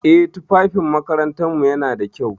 Eh, tufafin makarantarmu yana da kyau.